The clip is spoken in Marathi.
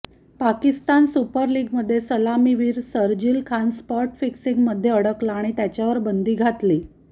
पाकिस्तान सुपर लीगमध्ये सलामीवर शरजील खान स्पॉट फिक्सिंगमध्ये अडकला आणि त्याच्यावर बंदी घातली